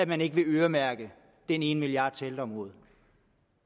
man ikke vil øremærke den ene milliard til ældreområdet